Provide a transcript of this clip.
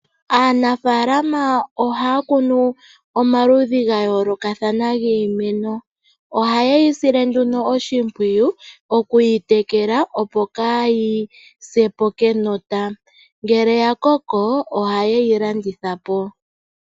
Aanafaalama ohaya kunu omaludhi ga yoolokathana giimeno. Ohaye yi sile nduno oshimpwiyu okuyi tekela, opo kaayi se po kenota. Ngele ya koko, ohaye yi landitha po.